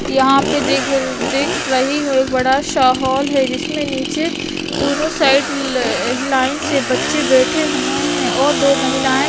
यहाँ पर देख र देख रही हो एक बड़ा सा हॉल है। जिसमें नीचे दोनों साइड ल लाइन से बच्चे बैठे हुए हैं और दो महिलाएं --